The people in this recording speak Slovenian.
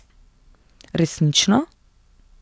Resnično?